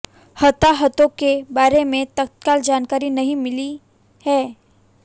हताहतों के बारे में तत्काल जानकारी नहीं मिली है